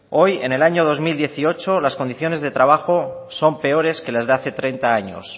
hoy en el año dos mil dieciocho las condiciones de trabajo son peores que las de hace treinta años